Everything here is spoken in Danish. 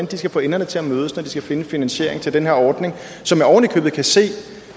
de skal få enderne til at mødes når de skal finde finansieringen til den her ordning som jeg oven i købet kan se